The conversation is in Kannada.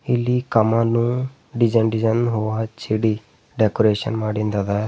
ಇಲ್ಲಿ ಕಮಾನು ಡಿಸೈನ್ ಡಿಸೈನ್ ಅವ ಚೀಡಿ ಡೆಕೋರೇಷನ್ ಮಾಡಿದ್ ಅದ.